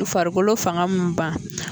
U farikolo fanga me ban.